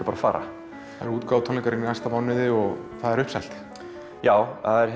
bara fara það eru útgáfutónleikar í næsta mánuði og það er uppselt já það er